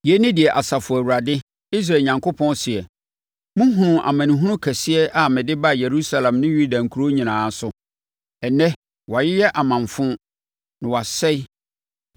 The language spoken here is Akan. “Yei ne deɛ Asafo Awurade, Israel Onyankopɔn seɛ: Mohunuu amanehunu kɛseɛ a mede baa Yerusalem ne Yuda nkuro nyinaa so. Ɛnnɛ wɔayeyɛ amanfo na wɔasɛe